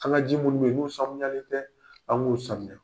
An ka ji ninnu bɛ ye n'u sanuyale tɛ an k'u sanuya